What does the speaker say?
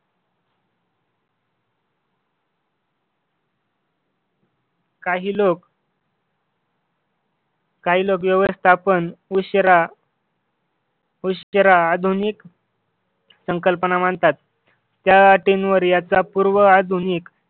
काही लोक काही लोक व्यवस्थापन उशिरा उशिरा आधुनिक संकल्पना मांडतात त्या टीम वर याचा पूर्व आधुनिक